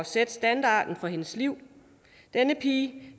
sætte standarden for hendes liv denne pige